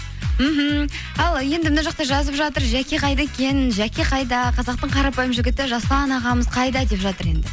мхм ал енді мына жақта жазып жатыр жәке қайда екен жәке қайда қазақтың қарапайым жігіті жасұлан ағамыз қайда деп жатыр енді